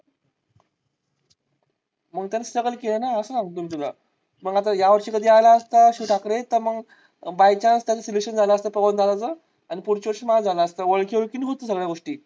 मग त्याने struggle केलं ना असं सांगतो मी तुला. मग आता यावर्षी कधी आला असता तर मग शिव ठाकरे by chance त्याच selection झालं असतं पवनदादा च आणि पुढच्या वर्षी माझं झालं असत ओळखी ओळखीने होते सगळ्या गोष्टी.